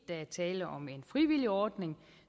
der er tale om en frivillig ordning